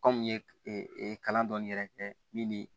Kɔmi n ye kalan dɔɔni yɛrɛ kɛ min ni